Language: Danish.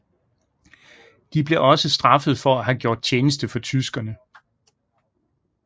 De blev også straffet for at have gjort tjeneste for tyskerne